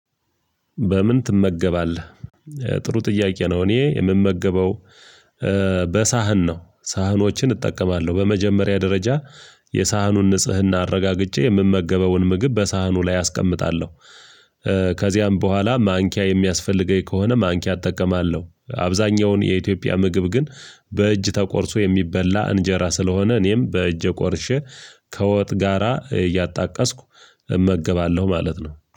በምን ትመገባለህ? ጥሩ ጥያቄ ነው እኔ የምመገበው በሳህን ነው ሳህኖችን እጠቀማለሁ በመጀመሪያ ደረጃ የሳህኑን ንጽህና አረጋግጬ የምመገበውን ምግብ በሳህኑ ላይ አስቀምጣለሁ። ከዚያም በኋላ ማንኪያ የሚያስፈልገኝ ከሆነ ማንኪያ እጠቀማለሁ አብዛኛውን የኢትዮጵያ ምግብ ግን በእጅ ተቆርሶ የሚበላ እንጀራ ስለሆነ እኔም በእጄ ቆርሼ ከወጥ ጋራ እያጣቀስኩ እመግባለሁ ማለት ነው